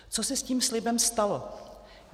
Co se s tím slibem stalo?